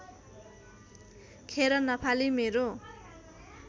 खेर नफाली मेरो